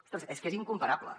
ostres és que és incomparable